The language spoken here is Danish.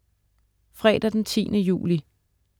Fredag den 10. juli